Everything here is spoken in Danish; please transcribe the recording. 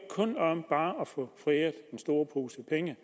bare handler at få foræret en stor pose penge